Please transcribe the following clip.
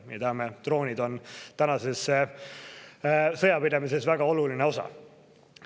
Me teame, et droonid on tänases sõjapidamises väga oluline osa.